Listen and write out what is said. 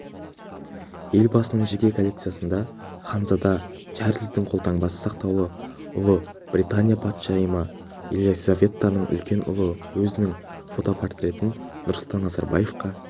елбасының жеке коллекциясында ханзада чарльздің қолтаңбасы сақтаулы ұлыбритания патшайымы елизаветаның үлкен ұлы өзінің фотопортретін нұрсұлтан назарбаевқа